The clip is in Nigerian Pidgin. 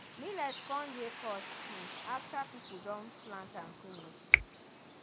millet come dey cost um after people don plant am finish